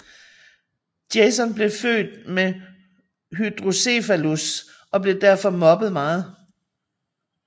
Jason blev født med hydrocephalus og blev derfor mobbet meget